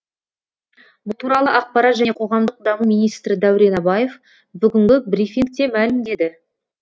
бұл туралы ақпарат және қоғамдық даму министрі дәурен абаев бүгінгі брифингте мәлімдеді